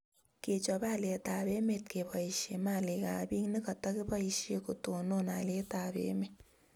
kechop haliyet ab emet keboishe malik ab piik ne katakibaishe kotonon halyet ab emet